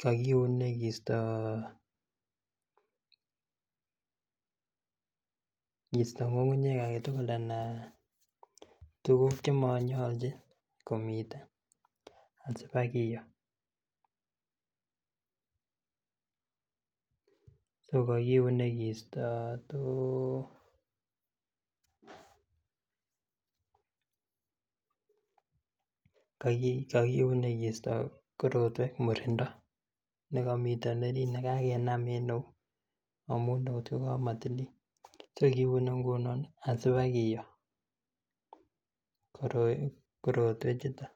kokiune kisto kisto ng'ung'unyek alak tugul anan tuguk chemonyolnjin komiten asibakiyoo. So kokiune kisto too kokiune kisto korotwek murindo nekomiten orit nekakenam en eut amun eut kokamotilil so kiune ngunon ih asibakiyoo korotwechuto